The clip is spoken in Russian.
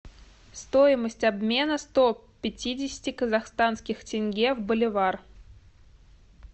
стоимость обмена сто пятидесяти казахстанских тенге в боливар